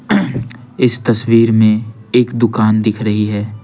इस तस्वीर में एक दुकान दिख रही है।